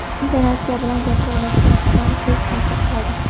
intonatsiya bilan gapira oladigan odam tez ta’sir qiladi.